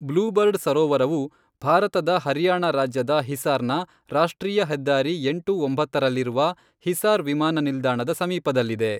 Blue bird ಸರೋವರವು ಭಾರತದ ಹರಿಯಾಣ ರಾಜ್ಯದ ಹಿಸಾರ್ನ ರಾಷ್ಟ್ರೀಯ ಹೆದ್ದಾರಿ ಎಂಟು ಒಂಬತ್ತರಲ್ಲಿರುವ ಹಿಸಾರ್ ವಿಮಾನ ನಿಲ್ದಾಣದ ಸಮೀಪದಲ್ಲಿದೆ.